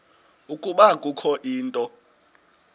ukuba kukho into